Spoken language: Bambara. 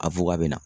A bɛ na